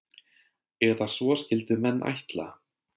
Eða svo skyldu menn ætla.